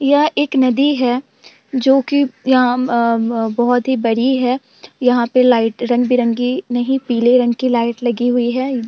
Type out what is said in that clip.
यह एक नदी है जो कि यहाँ अ ब बोहोत ही बड़ी है। यहाँ पे लाइट रंग-बेरंगी नही पीले रंग की लाइट लगी हुई है।